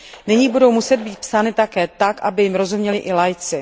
Nyní budou muset být psány také tak, aby jim rozuměli i laici.